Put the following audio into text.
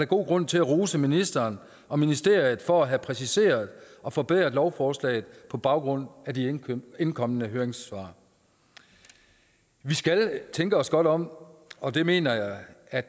god grund til at rose ministeren og ministeriet for at have præciseret og forbedret lovforslaget på baggrund af de indkomne høringssvar vi skal tænke os godt om og det mener jeg at